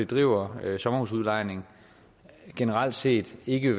driver sommerhusudlejning generelt set ikke